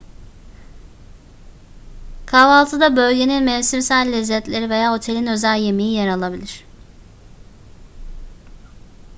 kahvaltıda bölgenin mevsimsel lezzetleri veya otelin özel yemeği yer alabilir